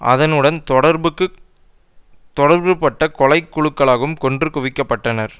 அதனுடன் தொடர்புபட்ட கொலை குழுக்களாலும் கொன்று குவிக்க பட்டனர்